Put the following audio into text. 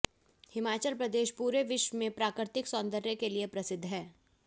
हिमाचल प्रदेश पूरे विश्व में प्राकृतिक सौंदर्य के लिए प्रसिद्ध है